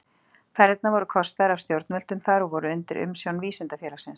Ferðirnar voru kostaðar af stjórnvöldum þar og voru undir umsjón Vísindafélagsins.